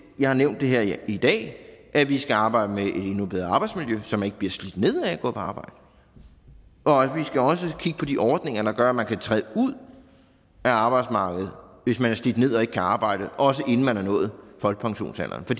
jeg har nævnt her i dag at vi skal arbejde med at få et endnu bedre arbejdsmiljø så man ikke bliver slidt ned af at gå på arbejde og vi skal også kigge på de ordninger der gør at man kan træde ud af arbejdsmarkedet hvis man er slidt ned og ikke kan arbejde også inden man er nået folkepensionsalderen for